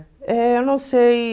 Eh, não sei.